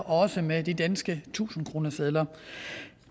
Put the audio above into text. også med de danske tusindkronesedler